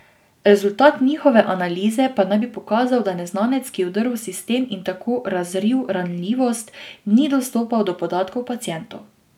Rezultat njihove analize pa naj bi pokazal, da neznanec, ki je vdrl v sistem in tako razril ranljivost, ni dostopal do podatkov pacientov.